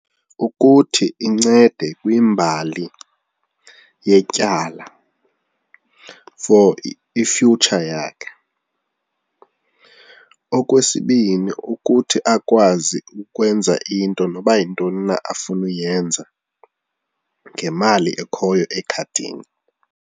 Ukuthi incede kwimbali yetyala for i-future yakhe. Okwesibini, ukuthi akwazi ukwenza into noba yintoni na afuna uyenza ngemali ekhoyo ekhadini.